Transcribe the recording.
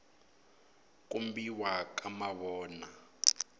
kombiwa ka mavona